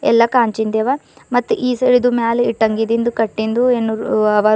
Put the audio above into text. ಎಲ್ಲ ಕಾಂಚಿಂದವ ಮತ್ ಈ ಸರಿದು ಮೇಲೆ ಹಿಟ್ಟಂಗಿ ಇಂದ ಕಟ್ಟಿದ್ದು ಅವ ರೂಮ್ --